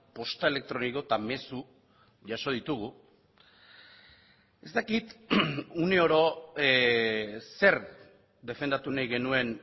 posta elektroniko eta mezu jaso ditugu ez dakit uneoro zer defendatu nahi genuen